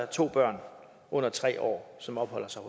to børn under tre år som opholder sig